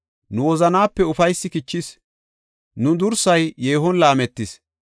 Nu wozanaape ufaysi kichis; nu dursay yeehon laametis.